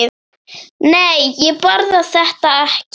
Nei, ég borða þetta ekki.